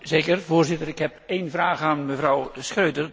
Voorzitter, ik heb een vraag aan mevrouw Schroedter.